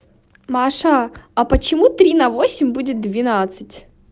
маша а почему три на восемь будет двенадцать